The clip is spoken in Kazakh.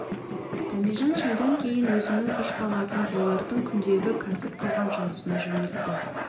дәмежан шайдан кейін өзінің үш баласын олардың күндегі кәсіп қылған жұмысына жөнелтті